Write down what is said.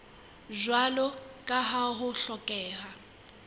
jwalo ka ha ho hlokeha